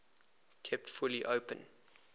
kept fully open